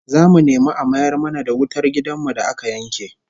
Zamu nemi a mayar mana da wutar gidan mu da aka yanke